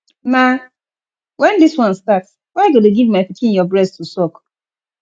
na wen dis one start why you go dey give my pikin your breast to suck